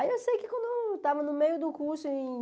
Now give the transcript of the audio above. Aí eu sei que quando eu estava no meio do curso em...